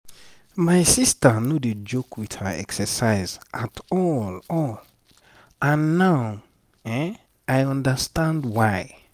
my sister no dey joke with her exercise at all all and now i understand why.